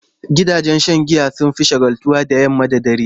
Gidajen giya sun fi shagaltuwa da yamma da dare.